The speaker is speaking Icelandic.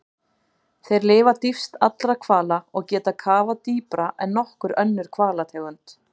Þeir lifa dýpst allra hvala og geta kafað dýpra en nokkur önnur hvalategund.